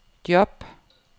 job